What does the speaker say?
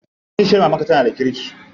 Kishiyar mamarka tana da kirki?